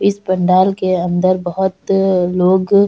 इस पंडाल के अंदर बहोत लोग --